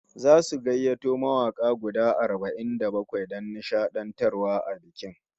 Zasu gayyato mawaka guda arba'in da bakwai don nishadantarwa a bikin